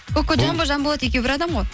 кокожамбо жанболат екеуі бір адам ғой